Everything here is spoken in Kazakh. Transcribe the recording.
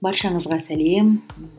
баршаңызға сәлем